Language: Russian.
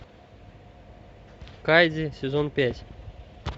кайдзи сезон пять